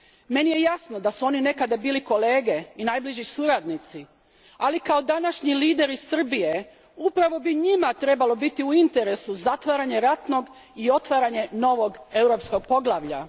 Meni je jasno da su oni nekada bili kolege i najbliži suradnici, ali kao današnji lideri Srbije upravo bi njima trebalo biti u interesu zatvaranje ratnog i otvaranje novog, europskog poglavlja.